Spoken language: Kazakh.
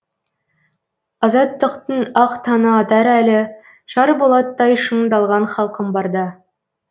азаттықтың ақ таңы атар әлі шар болаттай шыңдалған халқым барда